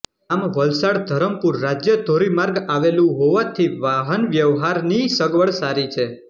ગામ વલસાડધરમપુર રાજ્ય ધોરી માર્ગ આવેલું હોવાથી વાહનવ્યહવારનિઇ સગવડ સારી છે